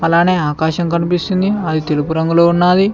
అలానే ఆకాశం కనిపిస్తుంది అది తెలువు రంగులో ఉన్నాది.